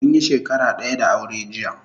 Munyi shakara daya da aure jiya